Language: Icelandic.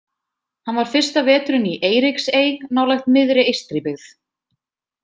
Hann var fyrsta veturinn í Eiríksey, nálægt miðri Eystribyggð.